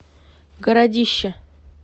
городище